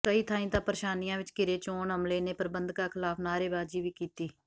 ਕਈ ਥਾਈਂ ਤਾਂ ਪ੍ਰੇਸ਼ਾਨੀਆਂ ਵਿੱਚ ਘਿਰੇ ਚੋਣ ਅਮਲੇ ਨੇ ਪ੍ਰਬੰਧਕਾਂ ਖਿਲਾਫ਼ ਨਾਅਰੇਬਾਜ਼ੀ ਵੀ ਕੀਤੀ